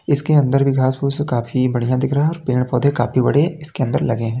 इसके अंदर भी घास फूस काफी बढ़ियाँ दिख रहा। पेड़ पौधे काफी बड़े इसके अंदर लगे हैं।